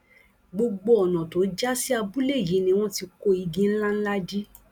gbogbo ọnà tó já sí abúlé yìí ni wọn ti kó igi ńlá ńlá dí